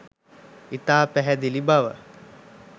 ඉතා පැහැදිළිව බව